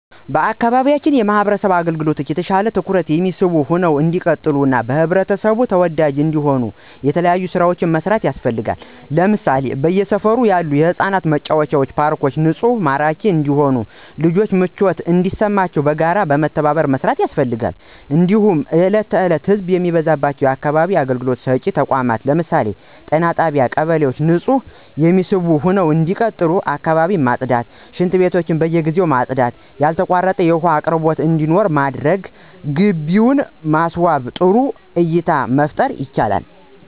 በአካባቢያችን የማህበረሰብ አገልግሎቶች የተሻሉ እና ትኩረት የሚስቡ ሁነው እንዲቀጥሉ እና በህብረተሰቡ ተወዳጅ እንዲሆኑ የተለያዩ ስራዎች መስራት ያስፈልጋል ለምሳሌ በየሰፈሩ ያሉ የህፃናት መጫወቻ ፓርኮችን ንፁህና ማራኪ እንዲሁም ለልጆች ምቾት እንዲሰጣቸው በጋራ በመተባበር መስራት ያስፈልጋል። እንዲሁም እለት ከዕለት ህዘብ የሚበዛባቸው የአካባቢ አገልግሎት ሰጭ ተቋማት ለምሳሌ ጤና ጣቢያ እና ቀበሌዎች ንፁህ እና የሚስቡ ሁነው እንዲቀጥሉ አካባቢን ማፅዳት እና ሽንትቤቶች በየጊዜው ማፅዳት እና ያልተቋረጠ የውሃ አቅርቦት እንዲኖር በማድረግ እና ግቢውን በማስዋብ ጥሩ እይታን መፍጠር ይቻላል።